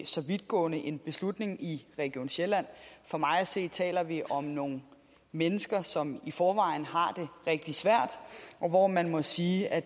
så vidtgående en beslutning i region sjælland for mig at se taler vi om nogle mennesker som i forvejen har det rigtig svært og hvor man må sige at